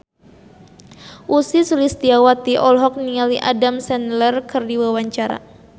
Ussy Sulistyawati olohok ningali Adam Sandler keur diwawancara